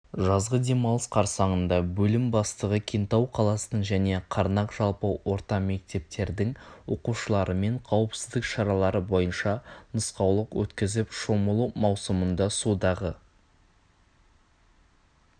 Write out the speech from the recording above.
жазғы демалыс қарсанында бөлім бастығы кентау қаласының және қарнақ жалпы орта мектептетердің оқушыларымен қауіпсіздік шаралары бойынша нұсқаулық өткізіп шомылу маусымында судағы